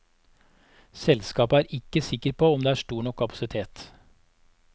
Selskapet er ikke sikker på om det er stor nok kapasitet.